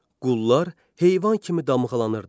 Qullar heyvan kimi damğalanırdı.